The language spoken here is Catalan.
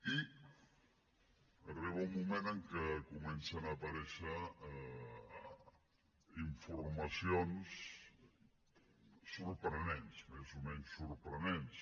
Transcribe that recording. i arriba un moment en què comencen a aparèixer informacions sorprenents més o menys sorprenents